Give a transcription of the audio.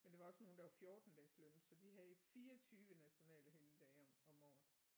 Men der var også nogle der var 14 dages lønnet så de havde 24 nationale helligdage om om året